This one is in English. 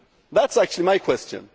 That is actually my question.